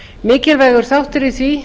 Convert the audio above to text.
mikilvægur þáttur í því